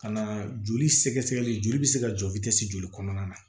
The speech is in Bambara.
Ka na joli sɛgɛsɛgɛli joli bɛ se ka jɔ joli kɔnɔna na